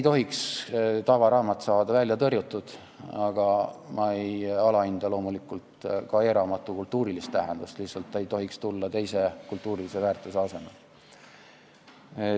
Tavaraamat ei tohiks saada välja tõrjutud, aga ma ei alahinda loomulikult ka e-raamatu kultuurilist tähendust, ta ei tohiks lihtsalt tulla teise kultuurilise väärtuse asemele.